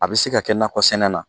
A bɛ se ka kɛ nakɔ sɛnɛ na.